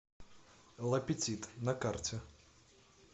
ла петит на карте